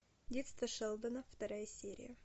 детство шелдона вторая серия